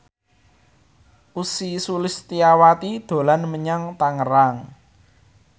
Ussy Sulistyawati dolan menyang Tangerang